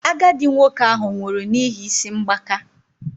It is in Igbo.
Agadi nwoke ahụ nwụrụ n'ihi isi mgbaka